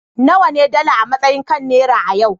nawa ne dala a matsayi kan naira a yau